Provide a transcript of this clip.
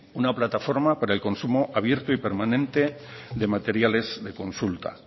una plataforma para el consumo abierto y permanente de materiales de consulta